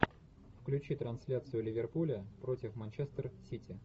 включи трансляцию ливерпуля против манчестер сити